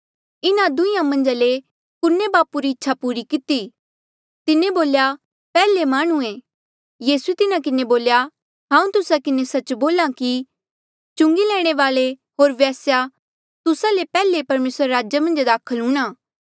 इन्हा दुंहीं मन्झा ले कुने बापू री इच्छा पूरी किती तिन्हें बोल्या पैहले माह्णुंऐ यीसूए तिन्हा किन्हें बोल्या हांऊँ तुस्सा किन्हें सच्च बोल्हा कि चुंगी लैणे वाल्ऐ होर वेस्या तुस्सा ले पैहले परमेसरा रे राजा मन्झ दाखल हूंणां